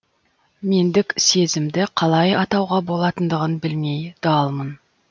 мендік сезімді қалай атауға болатындығын білмей далмын